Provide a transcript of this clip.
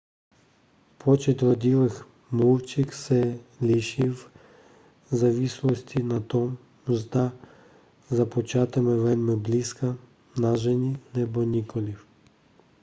počet rodilých mluvčích se liší v závislosti na tom zda započítáme velmi blízká nářečí nebo nikoliv